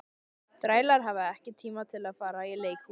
Þrælar hafa ekki tíma til að fara í leikhús.